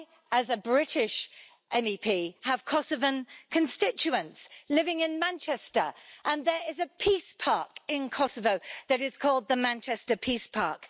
As a British MEP, I have Kosovan constituents living in Manchester, and there is a peace park in Kosovo that is called the Manchester Peace Park.